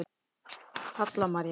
Halla María.